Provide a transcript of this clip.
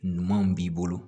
Ɲumanw b'i bolo